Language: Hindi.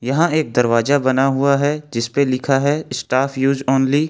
यहां एक दरवाजा बना हुआ है जिस पे लिखा है स्टाफ यूज ओनली ।